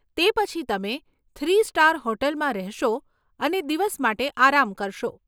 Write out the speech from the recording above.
તે પછી તમે થ્રી સ્ટાર હોટલમાં રહેશો અને દિવસ માટે આરામ કરશો.